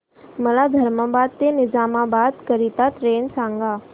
मला धर्माबाद ते निजामाबाद करीता ट्रेन सांगा